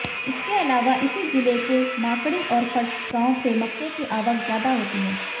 इसके अलावा इसी जिले के माकड़ी और फरसगांव से मक्के की आवक ज्यादा होती है